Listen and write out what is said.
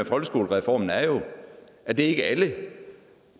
folkeskolereformen er jo at det ikke er alle